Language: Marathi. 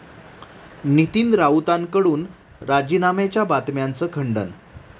नितीन राऊतांकडून राजीनाम्याच्या बातम्यांचं खंडन